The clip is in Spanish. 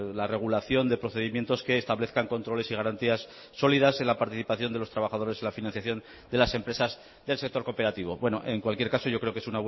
la regulación de procedimientos que establezcan controles y garantías sólidas en la participación de los trabajadores en la financiación de las empresas del sector cooperativo bueno en cualquier caso yo creo que es